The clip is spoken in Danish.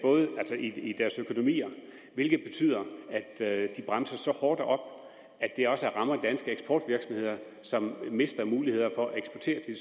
i deres økonomier hvilket betyder at de bremser så hårdt op at det også rammer danske eksportvirksomheder som mister muligheder for at eksportere til